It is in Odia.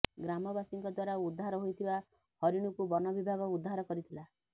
ଗ୍ରାମବାସୀଙ୍କ ଦ୍ୱାରା ଉଦ୍ଧାର ହୋଇଥିବା ହରିଣୀକୁ ବନ ବିଭାଗ ଉଦ୍ଧାର କରିଥିଲା